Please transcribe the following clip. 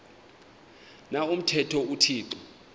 na umthetho uthixo